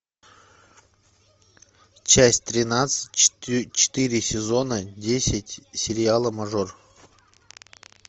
часть тринадцать четыре сезона десять сериала мажор